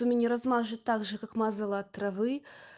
то меня размажет также как мазала от травы